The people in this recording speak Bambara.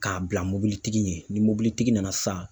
Ka bila mɔbilitigi ɲɛ ni mɔbilitigi nana sisan